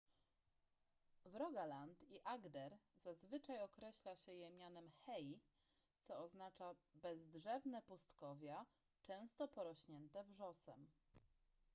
w rogaland i agder zazwyczaj określa się je mianem hei co oznacza bezdrzewne pustkowia często porośnięte wrzosem